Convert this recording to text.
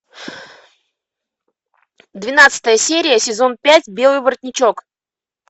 двенадцатая серия сезон пять белый воротничок